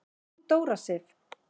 Þín Dóra Sif.